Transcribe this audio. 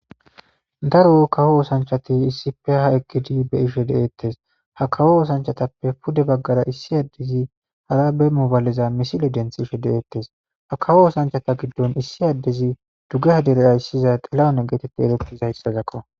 Daro kawo oosanchati issippe ha eqqidi be7ishe deetes. Ha kawo oosanchatappe pude baggara issi addezi harabe moobalezan misile denthishe de7etes .Ha kawo oosanchata giddon issi addezi dugeha dere ayssiza xilahune geetettizaysazakko.